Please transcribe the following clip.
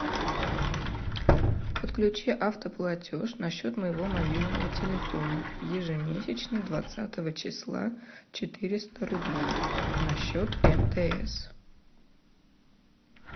подключи автоплатеж на счет моего мобильного телефона ежемесячно двадцатого числа четыреста рублей на счет мтс